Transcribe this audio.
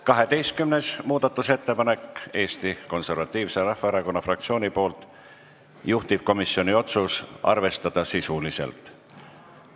12. muudatusettepanek Eesti Konservatiivse Rahvaerakonna fraktsioonilt, juhtivkomisjoni otsus: arvestada sisuliselt.